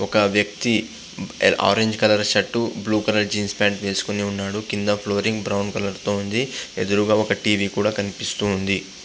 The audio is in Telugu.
ఒక వ్యక్తి orange colour shirt blue colour jeans pant వేసుకొని ఉన్నాడు. కింద ఫ్లోరింగ్ బ్రౌన్ కలర్ తో ఉంది. ఎదురుగా ఒక టీవీ కూడా కనిపిస్తోంది.